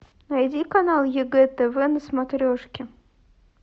найди канал егэ тв на смотрешке